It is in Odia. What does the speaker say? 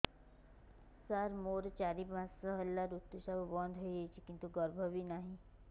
ସାର ମୋର ଚାରି ପାଞ୍ଚ ମାସ ହେଲା ଋତୁସ୍ରାବ ବନ୍ଦ ହେଇଯାଇଛି କିନ୍ତୁ ଗର୍ଭ ବି ନାହିଁ